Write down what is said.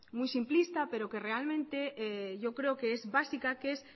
muy simplista pero que realmente yo creo que es básica que es